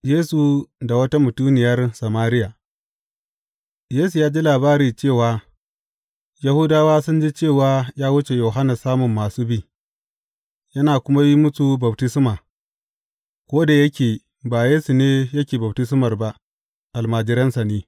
Yesu da wata mutuniyar Samariya Yesu ya ji labari cewa Yahudawa sun ji cewa ya wuce Yohanna samun masu bi, yana kuma yin musu baftisma, ko da yake ba Yesu ne yake baftismar ba, almajiransa ne.